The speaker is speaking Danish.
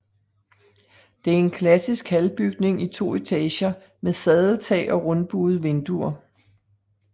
Det er en klassisk halbygning i to etager med sadeltag og rundbuede vinduer